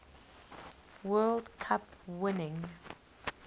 world cup winning